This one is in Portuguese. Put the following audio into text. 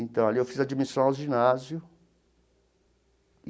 Então ali eu fiz admissão ao ginásio.